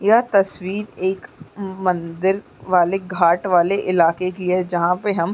यह तस्वीर एक म-मंदिर वाले घाट वाले इलाके की है जहाँ पे हम --